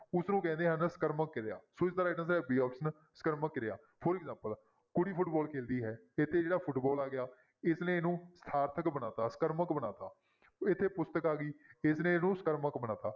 ਉਸਨੂੰ ਕਹਿੰਦੇ ਹਨ ਸਕਰਮਕ ਕਿਰਿਆ ਸੋ ਇਸਦਾ right answer ਹੈ b option ਸਕਰਮਕ ਕਿਰਿਆ for example ਕੁੜੀ ਫੁਟਬਾਲ ਖੈਡਦੀ ਹੈ ਫੁੱਟਬਾਲ ਆ ਗਿਆ, ਇਸਨੇ ਇਹਨੂੰ ਸਾਰਥਕ ਬਣਾ ਦਿੱਤਾ ਸਕਰਮਕ ਬਣਾ ਦਿੱਤਾ ਇੱਥੇ ਪੁਸਤਕ ਆ ਗਈ ਇਸਨੇ ਇਹਨੂੰ ਸਕਰਮਕ ਬਣਾ ਦਿੱਤਾ।